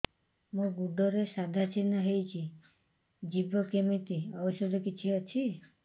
ମୋ ଗୁଡ଼ରେ ସାଧା ଚିହ୍ନ ହେଇଚି ଯିବ କେମିତି ଔଷଧ କିଛି ଅଛି